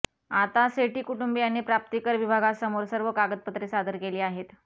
आता सेठी कुटुंबीयांनी प्राप्तिकर विभागासमोर सर्व कागदपत्रे सादर केली आहेत